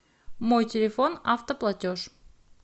мой телефон автоплатеж